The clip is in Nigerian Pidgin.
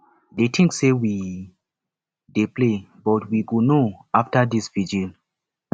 dey think say we dey play but we go know after dis vigil